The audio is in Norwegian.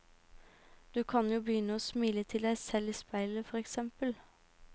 Du kan jo begynne å smile til deg selv i speilet, for eksempel.